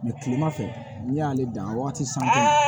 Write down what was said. kilemafɛ n'i y'ale dan wagati san